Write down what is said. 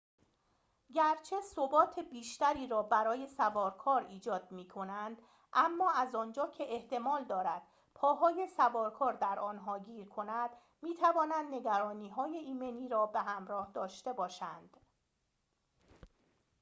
گرچه ثبات بیشتری را برای سوارکار ایجاد می‌کنند اما از آنجا که احتمال دارد پاهای سوارکار در آنها گیر کند می‌توانند نگرانی‌های ایمنی را به همراه داشته باشند